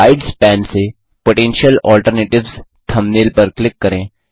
slides pane से potential alternatives thumbnail पर click करें